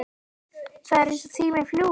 Það er eins og tíminn fljúgi bara!